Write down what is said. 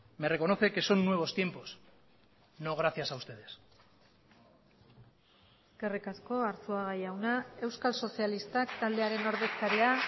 me reconoce que son nuevos tiempos no gracias a ustedes eskerrik asko arzuaga jauna euskal sozialistak taldearen ordezkaria